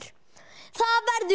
það verður